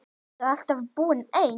Hefurðu alltaf búið einn?